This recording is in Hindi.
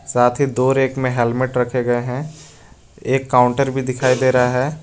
साथ ही दो रेक में हेलमेट रखे गए हैं एक काउंटर भी दिखाई दे रहा है।